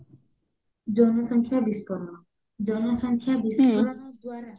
ଜନ ସଂଖ୍ୟା ବିସ୍ଫୋରଣ ଜନ ସଂଖ୍ୟା ବିସ୍ଫୋରଣ ଦ୍ଵାରା